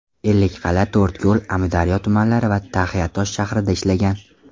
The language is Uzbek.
Ellikqal’a, To‘rtko‘l, Amudaryo tumanlari va Taxiatosh shahrida ishlagan.